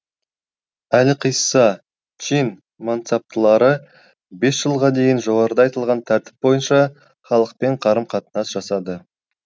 әлқисса чин мансаптылары бес жылға дейін жоғарыда айтылған тәртіп бойынша халықпен қарым қатынас жасады